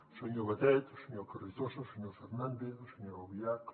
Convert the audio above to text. el senyor batet el senyor carrizosa el senyor fernández la senyora albiach